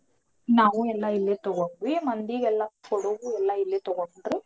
ನಾವು ಎಲ್ಲಾ ಇಲ್ಲೆ ತಗೊಂಡ್ವಿ ಮಂದಿಗೆಲ್ಲಾ ಕೊಡೋದು ಎಲ್ಲಾ ಇಲ್ಲೆ ತಗೊಂಡ್ರು.